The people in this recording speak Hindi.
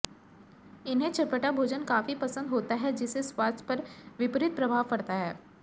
इन्हें चटपटा भोजन काफी पसंद होता है जिससे स्वास्थ्य पर विपरीत प्रभाव पड़ता है